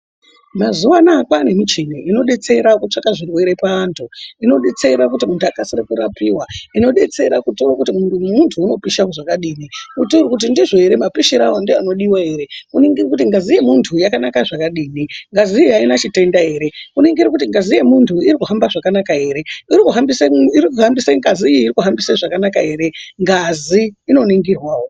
Mazuwa anaya kwaane michini inodetsera kutsvaka zvirwere paantu ,inodetsera kuti muntu akasire kurapiwa ,inodetsera kutaura kuti mwiri womuntu unopisha zvakadini ,unotaure kuti ndzivo ere mapishirewo ndiwo anodiwa ere ,kuningira kuti ngazi yemuntu yakanaka zvakadini ,ngaziyo aina chitenda ere ,kuningira kuti ngazi yemunhu irikuhambe zvakanaka ere ,irikuhambise ,ngaziyi irikuhambise zvakanaka ere ngazi inoningirwawo.